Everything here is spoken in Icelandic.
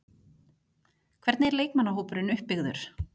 Hvernig er leikmannahópurinn uppbyggður?